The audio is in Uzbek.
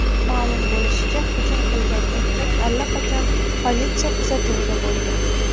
Ma’lum bo‘lishicha, hujum qilgan erkak allaqachon politsiya kuzatuvida bo‘lgan.